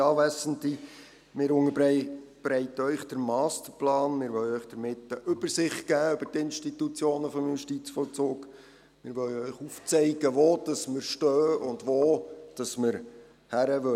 Wir wollen Ihnen damit eine Übersicht über die Institutionen des Justizvollzugs geben und Ihnen aufzeigen, wo wir stehen und wohin wir gehen wollen.